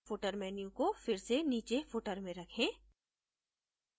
footer menu को फिर से नीचे footer में रखें